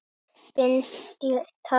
Bind í tagl.